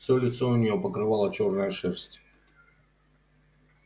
все лицо у нее покрывала чёрная шерсть